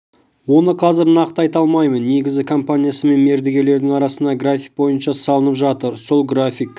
оны қазір нақты айта алмаймын негізі компаниясы мен мердігерлердің арасындағы график бойынша салынып жатыр сол график